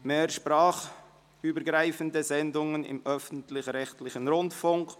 Mehr sprachübergreifende Sendungen im öffentlichrechtlichen Rundfunk».